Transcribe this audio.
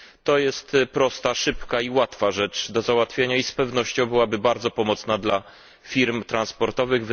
To jest prosta, szybka i łatwa rzecz do załatwienia i z pewnością byłaby bardzo pomocna dla firm transportowych.